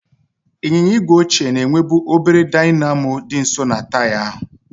Ịnyịnya igwe ochie na-enwebu obere dynamo dị nso na taya ahụ.